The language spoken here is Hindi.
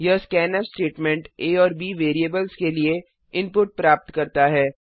यह स्कैन्फ स्टेटमेंट आ और bवैरिएबल्स के लिए इनपुट प्राप्त करता है